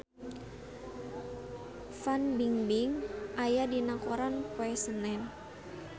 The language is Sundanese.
Fan Bingbing aya dina koran poe Senen